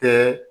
Kɛ